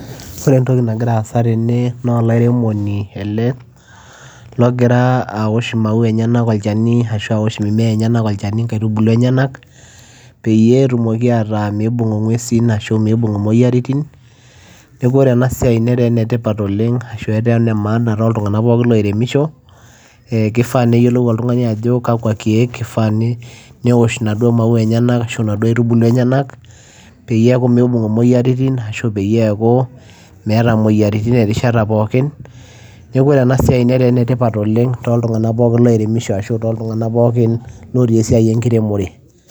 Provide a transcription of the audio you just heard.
Ore entoki nagira asa tene naa olairemoni ele logira aaosh imaua enyena olchani Ashu aaosh imimea enyena olchani pee etumoki ataa meibung ingwesi Ashuu meibung imoyiaritin. Neeku ore enasiai netaa enetipat oleng ashuu etaa enemaana tooltinganak pooki looiremisho keifaa neyiolou oltungani Ajo kakwa kiek eifaa newosh inaduo maua enyenak ashuu naduo aitubulu enyenak peyie neeku meibung imoyiaritin ashuu peyie eeku meeta imoyiaritin erishata pooki neeku ore enasiai netaa enetipat oleng tooltuganak pooki oiremisho ashuu tooltunganak pookin ootii esiai enkiremore.